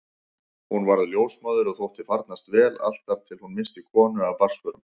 Hún varð ljósmóðir og þótti farnast vel allt þar til hún missti konu af barnsförum.